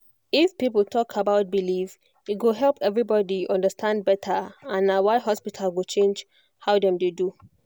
if people talk about belief e go help everybody understand better and na why hospital go change how dem dey do